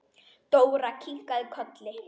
Dóra kinkaði kolli.